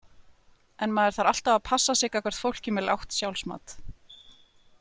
En maður þarf alltaf að passa sig gagnvart fólki með lágt sjálfsmat.